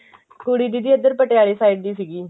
ਕੁੜੀ ਦੀਦੀ ਇੱਧਰ ਪਟਿਆਲੇ side ਦੀ ਸੀਗੀ